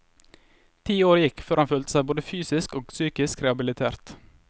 Ti år gikk før han følte seg både fysisk og psykisk rehabilitert.